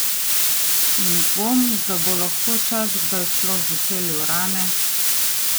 In dvom, da bo lahko čas kdaj sploh zacelil rane.